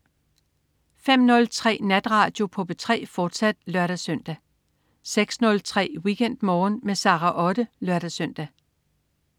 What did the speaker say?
05.03 Natradio på P3, fortsat (lør-søn) 06.03 WeekendMorgen med Sara Otte (lør-søn)